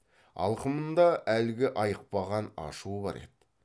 алқымында әлгі айықпаған ашуы бар еді